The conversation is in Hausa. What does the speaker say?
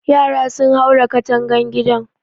Yara sun haura katangan gidan